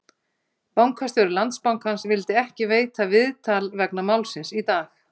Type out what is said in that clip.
Bankastjóri Landsbankans vildi ekki veita viðtal vegna málsins í dag?